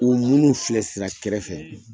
U munnu filɛ sira kɛrɛfɛ